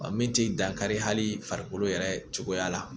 A min tɛ dankari hali farikolo yɛrɛ cogoya la